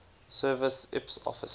service ips officer